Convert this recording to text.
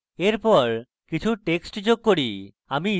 এরপর কিছু text যোগ করি